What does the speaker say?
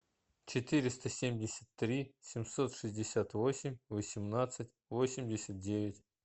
четыреста семьдесят три семьсот шестьдесят восемь восемнадцать восемьдесят девять